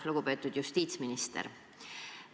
Lugupeetud justiitsminister!